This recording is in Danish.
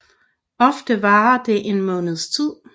Ofte varer det en måneds tid